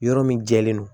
Yɔrɔ min jɛlen don